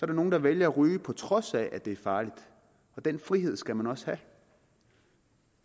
er nogle der vælger at ryge på trods af at det er farligt og den frihed skal man også have